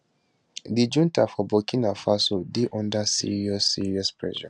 di junta for burkina faso dey under serious serious pressure